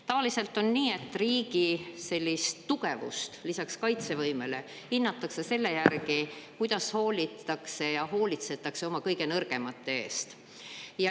Tavaliselt on nii, et riigi sellist tugevust lisaks kaitsevõimele hinnatakse selle järgi, kuidas hoolitakse ja hoolitsetakse oma kõige nõrgemate eest.